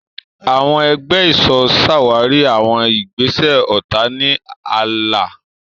Àwọn ẹgbẹ́ ìṣọ́ ṣàwárí àwọn ìgbésẹ̀ ọ̀tá ní ààlà.